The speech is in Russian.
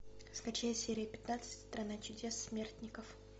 скачай серия пятнадцать страна чудес смертников